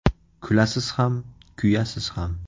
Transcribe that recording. Kulasiz ham, kuyasiz ham.